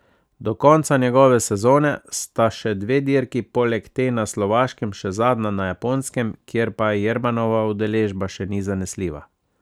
Do konca njegove sezone sta še dve dirki, poleg te na Slovaškem še zadnja na Japonskem, kjer pa Jermanova udeležba še ni zanesljiva.